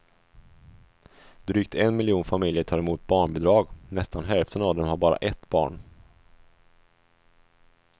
Drygt en miljon familjer tar emot barnbidrag, nästan hälften av dem har bara ett barn.